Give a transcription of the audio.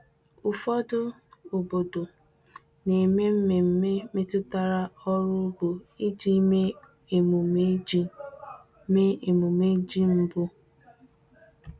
Ụfọdụ obodo na-eme mmemme metụtara ọrụ ugbo iji mee emume ji mee emume ji mbụ.